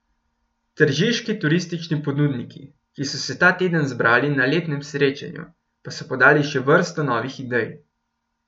Tržiški turistični ponudniki, ki so se ta teden zbrali na letnem srečanju, pa so podali še vrsto novih idej.